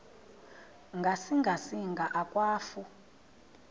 ngasinga singa akwafu